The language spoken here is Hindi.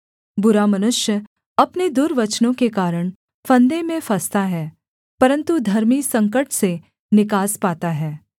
बुरा मनुष्य अपने दुर्वचनों के कारण फंदे में फँसता है परन्तु धर्मी संकट से निकास पाता है